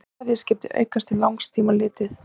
milliríkjaviðskipti aukast til langs tíma litið